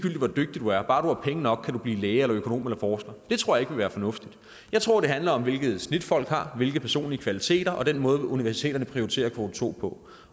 hvor dygtig du er bare du har penge nok kan du blive læge økonom eller forsker det tror jeg ikke være fornuftigt jeg tror det handler om hvilket snit folk har hvilke personlige kvaliteter og den måde universiteterne prioriterer kvote to på